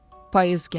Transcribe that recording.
payız gəlib,